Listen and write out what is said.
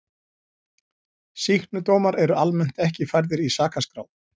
Sýknudómar eru almennt ekki færðir í sakaskrá.